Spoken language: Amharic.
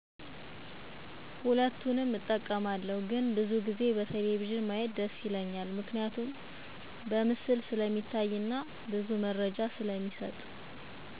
ሁለቱንም እጠቀማለሁ ግን ብዙ ጊዜ በቴሌቪዥን ማየት ደስ ይለኛል ምክንያቱም በምስል ስለሚታይና ሙሉ መረጃ ስለሚሰጥ።